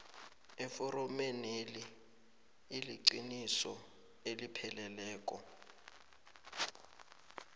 eforomeneli iliqiniso elipheleleko